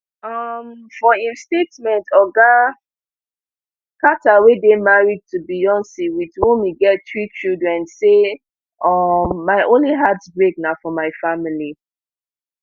um for im statement oga carter wey dey married to beyonc wit whom e get three children say um my only heartbreak na for my family